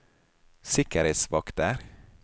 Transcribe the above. sikkerhetsvakter